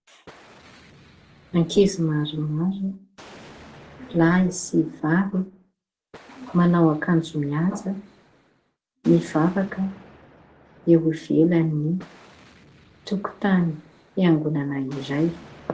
Ny ankizy maromaro lahy sy vavy, manao akanjo miavaka, mivavaka eo ivelan'ny tokotany fiangonana iray.